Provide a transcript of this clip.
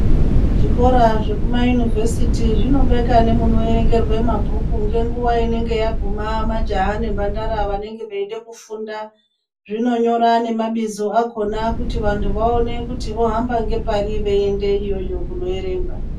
Zvikora zvekuma yunivesiti zvinobeka nemunoerengerwa mabhuku ngenguwa inenge yaguma majaha nemhandara vange veida kufunda zvinonyora nemabizo akhona kuti vandhu vohamba ngepari veiyenda iyoyo kunoerengwa